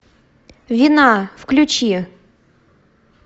вина включи